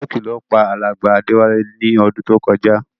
Stroke ló pa alàgbà Déwálé ni odún to kojá